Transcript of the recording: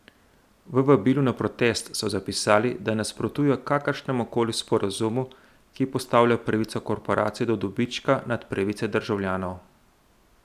V vabilu na protest so zapisali, da nasprotujejo kakršnemukoli sporazumu, ki postavlja pravico korporacij do dobička nad pravice državljanov.